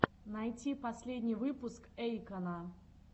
найти последний выпуск эйкона